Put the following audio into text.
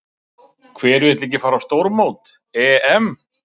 Hver vill ekki fara á stórmót, EM?